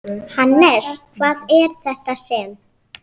Hannes, hvað er þetta sem?